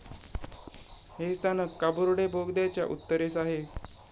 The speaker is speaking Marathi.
हे स्थानक काबुर्डे बोगद्याच्या उत्तरेस आहे.